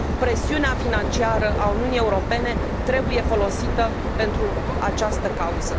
Presiunea financiară a Uniunii Europene trebuie folosită pentru această cauză.